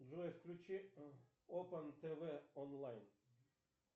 джой включи опан тв онлайн